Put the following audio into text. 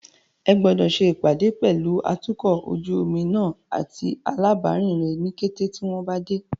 Ẹ gbọ́dọ̀ ṣe ìpàdé pẹ̀lú atukọ̀ ojú omi náà àti alábàárìn rẹ ní kété tí wọn bá dé.